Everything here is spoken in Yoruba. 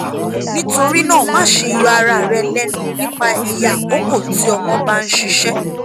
nitorinaa maṣe yọ ara rẹ lẹnu nipa iye akoko ti ọmọ ba n ṣiṣẹ